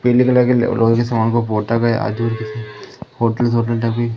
पीले कलर के लो लोहे के सामान को पोता गया आजू बाजू जैसे होटल सभी--